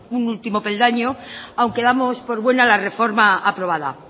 un último peldaño aunque damos por buena la reforma aprobada